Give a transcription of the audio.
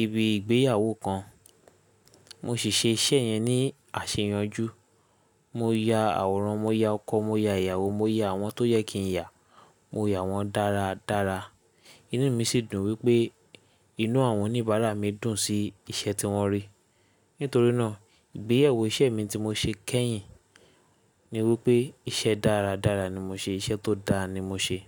ibi ìgbéyàwó kan. Mo sì ṣe iṣẹ́ yẹn ní àsẹyànjú. Mo ya àwòrán, mo ya ọkọ, mo ya ìyàwó, mo ya àwọn tó yẹ kí n ya, mo ya wọn dára dára. Inú mi sì dùn wípé inú àwọn oníbàárà mi dùn sí iṣẹ́ tí wọ́n rí. Nítorí náà ìgbéyẹ̀wò iṣẹ́ mi tí mo ṣe kẹ́yìn ni wípé iṣẹ́ dára dára ni mo ṣe, iṣẹ́ tó dá ni mo ṣe.